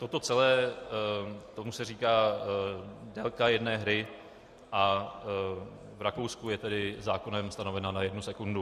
Toto celé, tomu se říká délka jedné hry a v Rakousku je tedy zákonem stanovena na jednu sekundu.